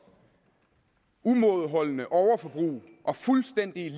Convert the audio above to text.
umådeholdende overforbrug og fuldstændige